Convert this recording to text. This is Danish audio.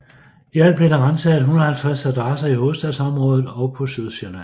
I alt blev der ransaget 150 adresser i hovedstadsområdet og på Sydsjælland